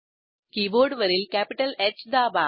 कीबोर्डवरील कॅपिटलH दाबा